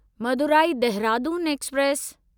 Madurai Dehradun express